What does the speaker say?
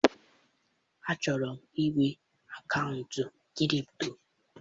Achọrọ m inwe akaụntụ kripto